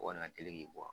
O kɔni ka teli k'i bɔ